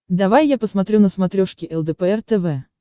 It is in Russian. давай я посмотрю на смотрешке лдпр тв